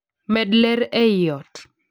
med ler ei ot